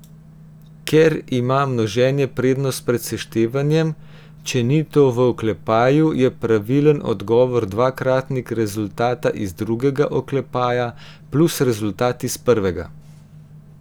Ker ima množenje prednost pred seštevanjem, če ni to v oklepaju, je pravilen odgovor dvakratnik rezultata iz drugega oklepaja plus rezultat iz prvega.